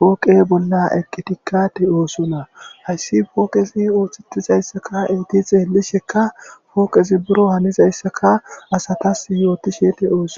pooqe bolla eqqidikka de'osonna; hayssi pooqezi ooththetizaysaka eeti xeelishekka pooqezi buro hanizayssakka asatas yootishe de'os.